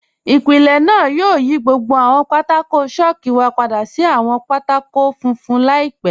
Ìpílẹ̀ náà yóò yí gbogbo àwọn pátákò̀ chalku wa padà sí àwọn pátákò̀ fúnfun laípẹ̀.